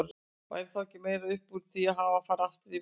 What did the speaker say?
Væri þá ekki meira upp úr því að hafa að fara aftur í vist?